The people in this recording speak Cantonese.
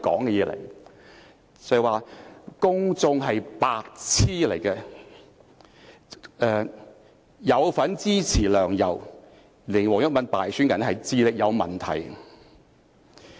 那段錄音說"公眾是白癡"、"有份支持梁、游，令黃毓民敗選的人是智力有問題"。